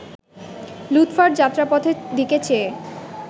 লুৎফার যাত্রাপথের দিকে চেয়ে